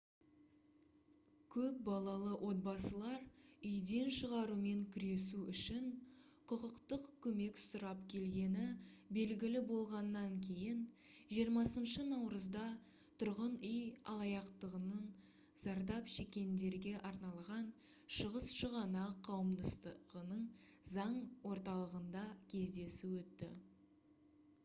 көп балалы отбасылар үйден шығарумен күресу үшін құқықтық көмек сұрап келгені белгілі болғаннан кейін 20 наурызда тұрғын үй алаяқтығынан зардап шеккендерге арналған шығыс шығанақ қауымдастығының заң орталығында кездесу өтті